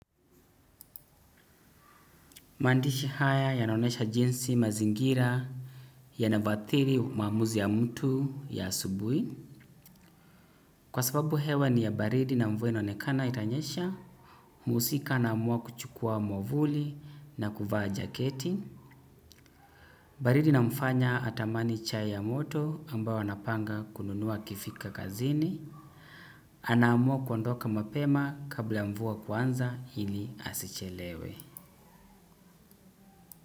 Maandishi haya yanaonyesha jinsi mazingira yanavyoathiri maamuzi ya mtu ya asubuhi. Kwa sababu hewa ni ya baridi na mvua inaonekana itanyesha. Mhusika naamua kuchukua mwavuli na kuvaa jaketi. Baridi inamfanya atamani chai ya moto ambayo anapanga kununua akifika kazini. Anaamua kuondoka mapema kabla mvua kuanza ili asichelewe.